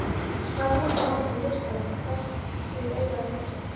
Hvaða búninga vantar á listann og hverjir eiga að víkja?